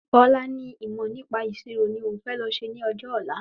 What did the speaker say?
Bọ́lá ní ìmọ̀ nípa ìṣirò ni òún fẹ lọ ṣe ní ọjọ́ ọ̀la